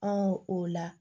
Anw o la